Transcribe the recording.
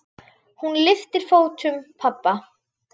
Hún lyftir fótum pabba.